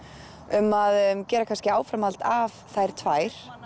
um að gera áframhald af þær tvær